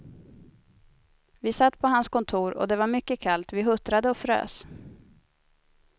Vi satt på hans kontor och det var mycket kallt, vi huttrade och frös.